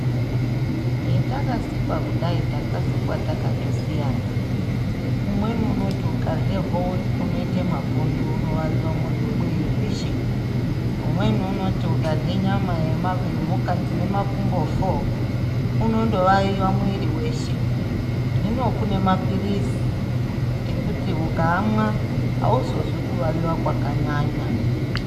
Hetakasikwa kudai takasikwa takatosiyana. Umweni unoti ukarye howe unoite mapundu unovaviwa mwiri mwiri weshe. Umweni unoti ukarye nyama yema yemhuka dzine makumbo foo unondovaviwa mwiri weshe. Hino kune maphirizi ,ekuti ukaamwa, auzozwi kuvawiwa kwakanyanya.